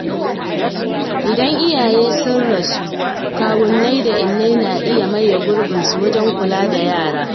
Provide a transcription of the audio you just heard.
Idan iyaye sun rasu, kawunnai da innai na iya maye gurbinsu wajen kula da yara.